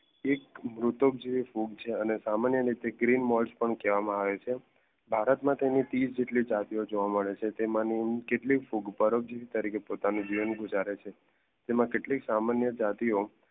એક મૃતક જેવી ફૂગ છે અને સામાન્ય તરીકે ગ્રીન મોસ કહેવામાં આવે છે. ભારત માં તેની ત્રીસ જેટલી જાતીયો જોવા મેડ છે તેમની કેટલીક ફૂગ જીવન ગુજારે છે તેમાં કેટલીક સામાન્ય જાતિઓ